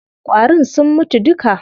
Ƙwarin sun mutu duka.